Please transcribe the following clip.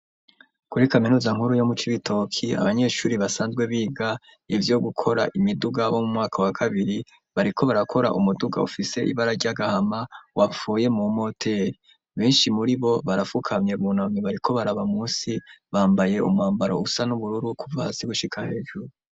Kuri kaminuza nkuru yo mu Cibitoke, abanyeshure basanzwe biga ivyo gukora imiduga bo mu mwaka wa kabiri, bariko barakora umuduga ufise ibara ry'agahama wapfuye mu moteri, benshi muribo barafukamye, bunamye bariko baraba munsi, bambaye umwambaro usa n'ubururu kuva hasi gushika hejuru.